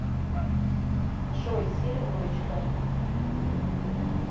джой сири дурочка